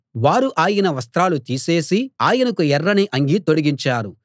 వారు ఆయన వస్త్రాలు తీసేసి ఆయనకు ఎర్రని అంగీ తొడిగించారు